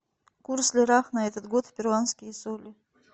курс в лирах на этот год в перуанские соли